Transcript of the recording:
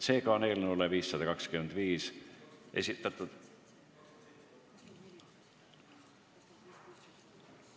Seega on eelnõu muutmiseks esitatud ...